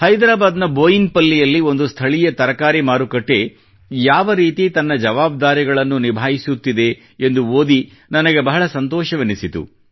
ಹೈದರಾಬಾದ್ ನ ಬೋಯಿನಪಲ್ಲಿಯಲ್ಲಿ ಒಂದು ಸ್ಥಳೀಯ ತರಕಾರಿ ಮಾರುಕಟ್ಟೆ ಯಾವರೀತಿ ತನ್ನ ಜವಾಬ್ದಾರಿಗಳನ್ನು ನಿಭಾಯಿಸುತ್ತಿದೆ ಎಂದು ಓದಿ ನನಗೆ ಬಹಳ ಸಂತೋಷವೆನಿಸಿತು